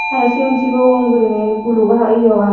aro sigon sigon guriney guluk ah yea ah agon.